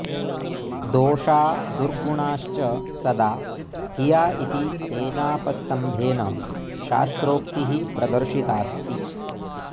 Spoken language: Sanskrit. दोषा दुर्गुणाश्च सदा हिया इति तेनापस्तम्भेन शास्त्रोक्तिः प्रदर्शितास्ति